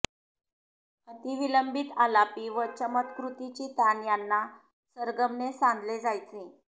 अतिविलंबित आलापी व चमत्कृतीची तान यांना सरगमने सांधले जायचे